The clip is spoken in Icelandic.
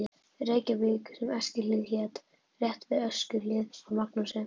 Reykjavík sem Eskihlíð hét, rétt við Öskjuhlíð, af Magnúsi